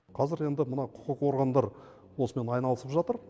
қазір енді мына құқық органдар осымен айналысып жатыр